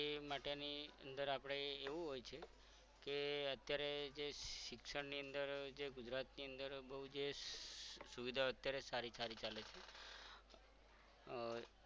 એ માટેની અંદર આપણે એવું હોય છે કે અત્યારે જે શિક્ષણ અંદર જે ગુજરાત ની અંદર બહુ જે સુવિધા અત્યારે સારિકારી ચાલે છે અર